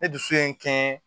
Ne dusu ye n kɛ